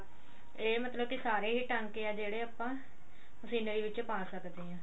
ਇਹ ਮਤਲਬ ਕੀ ਸਾਰੇ ਹੀ ਟਾਂਕੇ ਆ ਜਿਹੜੇ ਆਪਾਂ scenery ਵਿੱਚ ਪਾ ਸਕਦੇ ਹਾਂ